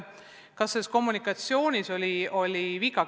Kas kommunikatsioonis oli viga?